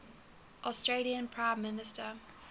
australian prime minister